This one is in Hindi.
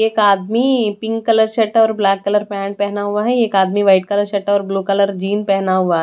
एक आदमी पिंक कलर शर्ट और ब्लैक कलर पेंट पहना हुआ है। एक आदमी व्हाइट कलर शर्ट और ब्लू कलर जीन पहना हुआ--